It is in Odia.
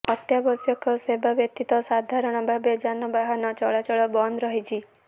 ଅତ୍ୟାବଶ୍ୟକ ସେବା ବ୍ୟତୀତ ସାଧାରଣ ଭାବେ ଯାନବାହାନ ଚଳାଚଳ ବନ୍ଦ ରହିଛି